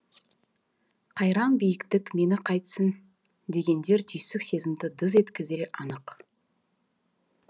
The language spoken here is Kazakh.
қайран биіктік мені қайтсін дегендер түйсік сезімді дыз еткізері анық